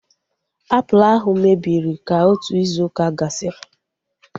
Apụl ahu mebiri ka otu izu ụka gasịrị